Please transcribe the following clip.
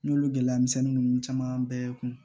N y'olu gɛlɛya misɛnnin ninnu caman bɛɛ kun